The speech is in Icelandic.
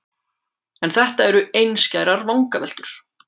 En þetta eru einskærar vangaveltur.